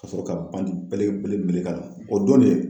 Ka sɔrɔ ka bandi belebele meleke a la, o don de